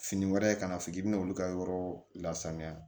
Fini wɛrɛ kana fɔ k'i bɛna olu ka yɔrɔ lasanuya